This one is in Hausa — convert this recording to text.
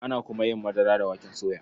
Ana kuma yin madara da waken soya.